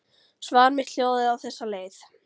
Svar mitt hljóðaði á þessa leið